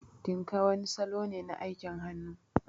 Tinka wani salo ne na aikin hannu.